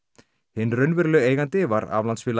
hinn raunverulegi eigandi var